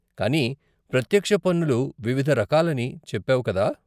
కానీ ప్రత్యక్ష పన్నులు వివిధ రకాలని చెప్పావు కదా?